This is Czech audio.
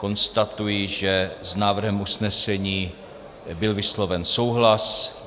Konstatuji, že s návrhem usnesení byl vysloven souhlas.